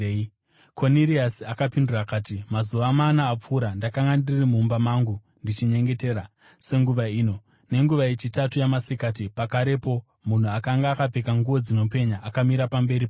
Koniriasi akapindura akati, “Mazuva mana apfuura ndakanga ndiri mumba mangu ndichinyengetera senguva ino, nenguva yechitatu yamasikati. Pakarepo munhu akanga akapfeka nguo dzinopenya akamira pamberi pangu